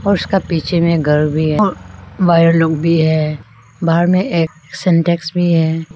और उसका पीछे में एक घर भी है वायर लोग भी है बाहर में सिंटेक्स भी है।